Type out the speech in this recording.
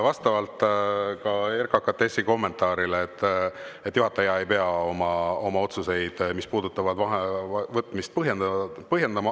Vastavalt ka RKKTS-i kommentaarile juhataja ei pea oma otsuseid, mis puudutavad vaheaja võtmist, põhjendama.